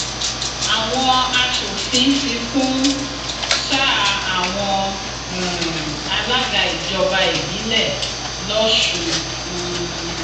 àwọn aṣòfin fi kún sáà àwọn um alága ìjọba ìbílẹ lọsùn um